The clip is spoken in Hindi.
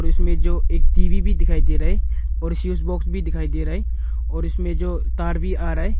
इसमें जो एक टी_वी भी दिखाई दे रहा है और स्विच बॉक्स भी दिखाई दे रहा है और इसमें जो तार भी आ रहा है।